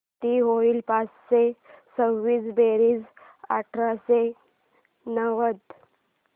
किती होईल पाचशे चोवीस बेरीज आठशे नव्वद